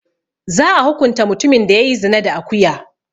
Za'a hukunta mutumin da ya yi zina da akuya.